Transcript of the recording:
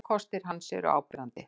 Ókostir hans eru áberandi.